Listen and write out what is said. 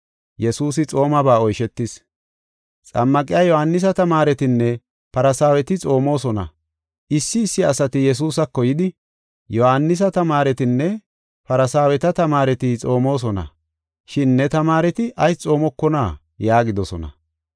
Xammaqiya Yohaanisa tamaaretinne Farsaaweti xoomosona. Issi issi asati Yesuusako yidi, “Yohaanisa tamaaretinne Farsaaweta tamaareti xoomosona, shin ne tamaareti ayis xoomokonaa?” yaagidosona.